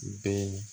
Bɛn